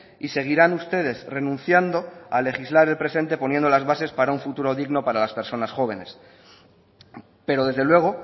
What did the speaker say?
y seguirán ustedes renunciando a legislar el presente poniendo las bases para un futuro digno para las personas jóvenes pero desde luego